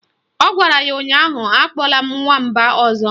Ọ gwara ya ụnyaahụ "Akpọla m Nwamba ọzọ"!